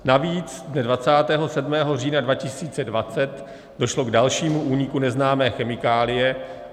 Navíc dne 27. října 2020 došlo k dalšímu úniku neznámé chemikálie.